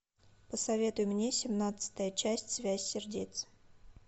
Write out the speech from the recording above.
посоветуй мне семнадцатая часть связь сердец